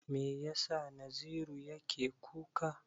Me yasa Naziru yake kuka?